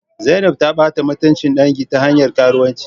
Zainab ta bata mutuncin dangi ta hanyar karuwanci